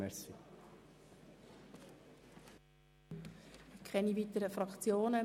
Es melden sich keine weiteren Fraktionen.